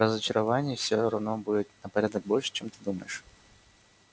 разочарований все равно будет на порядок больше чем ты думаешь